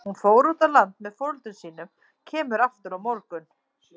Hún fór út á land með foreldrum sínum, kemur aftur á morgun.